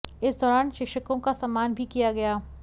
इस दौरान शिक्षकों का सम्मान भी किया गया